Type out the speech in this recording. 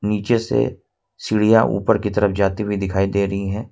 नीचे से सीढ़ियां ऊपर की तरफ जाती हुई दिखाई दे रहीं हैं।